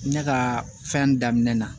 Ne ka fɛn daminɛ na